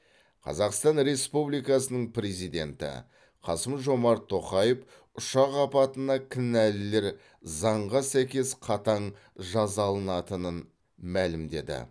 қазақстан республикасының президенті қасым жомарт тоқаев ұшақ апатына кінәлілер заңға сәйкес қатаң жазалынатынын мәлімдеді